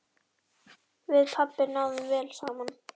Við pabbi náðum vel saman.